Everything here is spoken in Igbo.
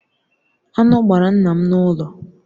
Aṅụ gbara nna m n’ụlọ.